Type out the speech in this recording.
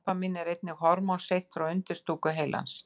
Dópamín er einnig hormón seytt frá undirstúku heilans.